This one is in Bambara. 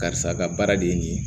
Karisa ka baara de ye nin ye